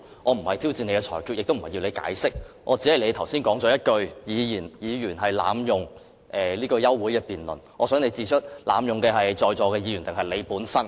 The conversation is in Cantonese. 我不是挑戰你的裁決，亦不是要你作出解釋，只是你剛才提及議員濫用休會辯論的機制，我想你指出濫用機制的是在座的議員，還是你本人呢？